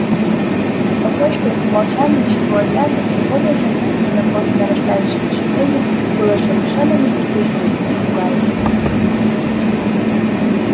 спокойствие и молчание всего отряда всё более заметное на фоне нарастающего шипения было совершенно непостижимым и пугающим